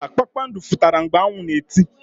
Mba, kpakpando fututara mgbe anwu na eti.